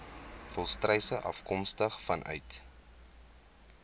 volstruise afkomstig vanuit